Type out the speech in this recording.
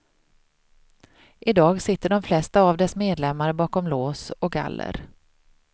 I dag sitter de flesta av dess medlemmar bakom lås och galler.